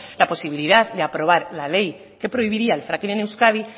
la posibilidad de aprobar la ley que prohibiría el fracking en euskadi